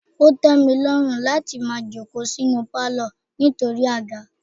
Ó tẹ mi lọ́run láti máa jókòó sínú palo nítorí àga.